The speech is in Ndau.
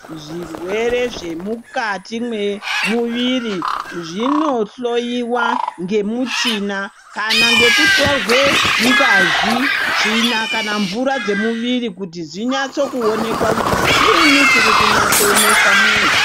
Zvirwere zvemukati mwemuviri dzinohloyiwa ngemuchina kana ngekutorwa ngazi, tsvina kana mvura dzemuviri kuti dzinyatsoonekwa kuti chiini chiri kunyatsonesa muntu.